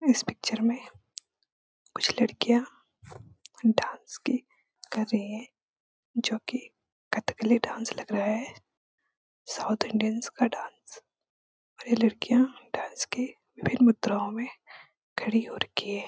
इस पिक्चर में कुछ लड़कियाँ डाँस की कर रही है जो कि कथकली डाँस लग रहा है साउथ इंडियँस का डाँस और ये लड़कियाँ डाँस के विभिन्न मुद्राओं में खड़ी हो रखी है।